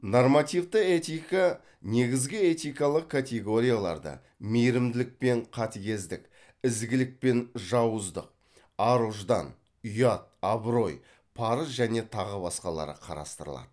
нормативті этика негізгі этикалық категорияларды мейірімділік пен катыгездік ізгілік пен жауыздык ар ұждан ұят абырой парыз және тағы басқалары қарастырылады